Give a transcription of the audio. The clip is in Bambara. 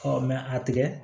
a tigɛ